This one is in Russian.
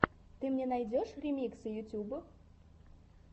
ты мне найдешь ремиксы ютьюб